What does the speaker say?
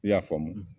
I y'a faamu